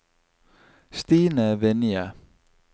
Stine Vinje